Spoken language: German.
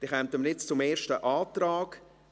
Wir kommen zum ersten Antrag.